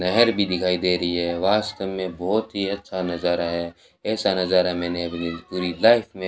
नहर भी दिखाई दे रही है वास्तव में बहुत ही अच्छा नज़ारा है ऐसा नज़ारा मैंने अपनी पूरी लाइफ़ में --